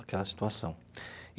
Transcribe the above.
Aquela situação.